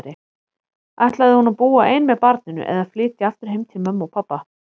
Ætlaði hún að búa ein með barninu, eða flytja aftur heim til mömmu og pabba?